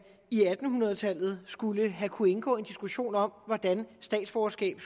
i atten hundrede tallet skulle have kunnet indgå en diskussion om hvordan statsborgerskab